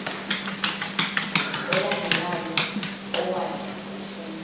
olandelayo owathi ufuna